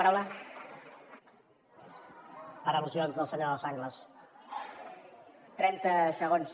per al·lusions del senyor sanglas